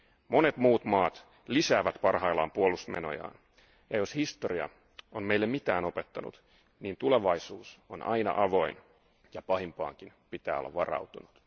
Monet muut maat lisäävät parhaillaan puolustusmenojaan ja jos historia on meille mitään opettanut, niin tulevaisuus on aina avoin ja pahimpaankin pitää olla varautunut.